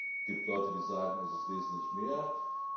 Es gibt Leute, die sagen, dass es wesentlich mehr